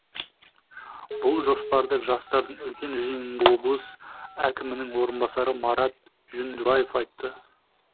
бұл жоспарды жастардың үлкен жиынында облыс әкімінің орынбасары марат жүндібаев айтты